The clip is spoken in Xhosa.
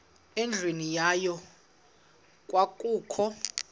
endlwini yayo kwakukho